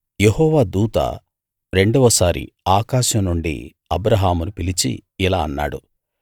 యెహోవా దూత రెండవసారి ఆకాశం నుండి అబ్రాహామును పిలిచి ఇలా అన్నాడు